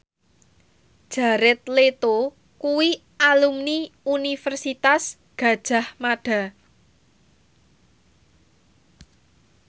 Jared Leto kuwi alumni Universitas Gadjah Mada